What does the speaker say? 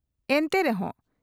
ᱮᱱᱛᱮ ᱨᱮᱦᱚ